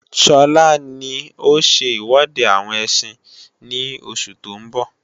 Sọlá ní ó ṣe iwọde àwọn ẹsin ní oṣù tó ń bọ̀